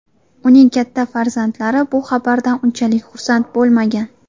Uning katta farzandlari bu xabardan unchalik xursand bo‘lmagan.